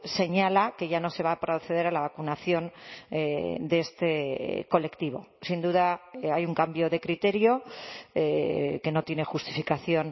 señala que ya no se va a proceder a la vacunación de este colectivo sin duda hay un cambio de criterio que no tiene justificación